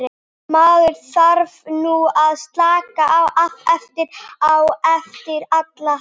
Maður þarf nú að slaka aðeins á eftir allan hasarinn.